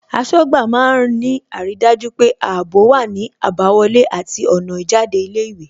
Aṣọ́gbà má ń ní àrídájú pé ààbò wá ní àbáwọlé àti ọ̀nà ìjáde ilé ìwé